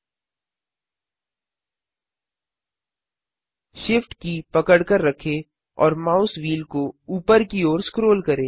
SHIFT की पकड़कर रखें और माउस व्हील को ऊपर की ओर स्क्रोल करें